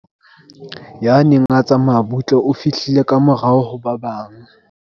Ya neng a tsamaya butle o fihlile ka morao ho ba bang.